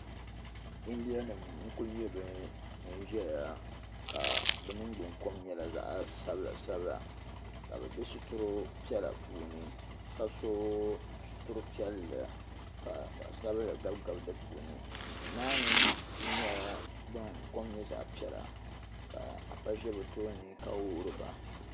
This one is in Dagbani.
India nim n kuli nye ban ʒiya ka bɛ ningbunkom kuli nye zaɣsabila sabila ka bɛ be sitiri piɛla puuni ka so sitire piɛlli ka zaɣsabinli gabi din ni duumaa ni kuli nyela din kom nye zaɣpiɛla ka afa ʒe bɛ tooni ka wuhiri ba.